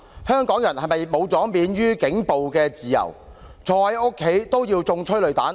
香港人是否喪失了免於警暴的自由，坐在家中也要挨催淚彈？